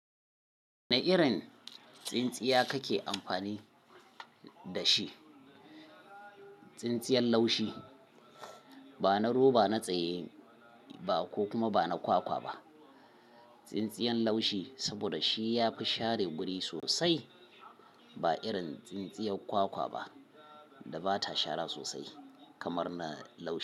Wane irin tsintsiya kake amfani da shi? Tsintsiyar laushi. Ba na roba, na tsaye ba ko kuma ba na kwakwa ba. Tsintsiyan laushi saboda shi ya fi share guri sosai. Ba irin tsintsiyar kwakwa ba da bata shara sosai kamar na laushi.